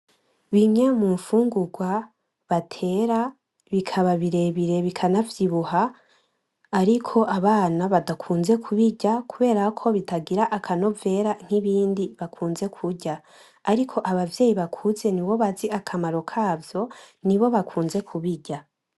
Bimwe mumfungurwa batera bikaba birebire bikanavyibuha, ariko abana badakunze kubirya kuberako bitagira akanovera nk'ibindi bakunze kurya ,ariko abavyeyi bakuze nibo bazi akamaro kavyo nibo bakunze kubirya.